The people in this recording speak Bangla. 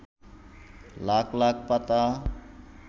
লাখ লাখ পাতা